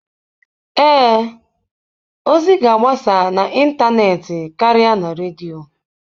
Ee, ozi ga-agbasa n'ịntanetị karịa na redio.